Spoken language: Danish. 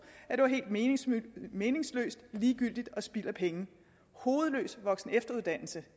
at det var helt meningsløst meningsløst ligegyldigt og spild af penge hovedløs voksen og efteruddannelse